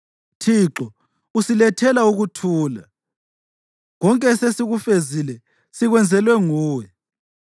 Thixo, usilethela ukuthula; konke esesikufezile sikwenzelwe nguwe.